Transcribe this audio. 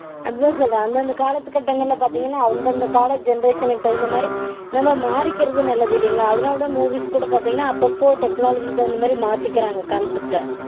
அதுதா சொல்றேன். அந்தந்த காலத்துகட்டங்கள்ல பாத்தீங்கனா அந்தந்த கால generation -க்கு தகுந்த மாதிரி நாம மாறிக்கறது நல்லது இல்லீங்களா? அதனாலதா movies கூட பாத்தீங்கனா அப்பப்போ technology -க்கு தகுந்த மாதிரி மாத்திக்கறாங்க concept -அ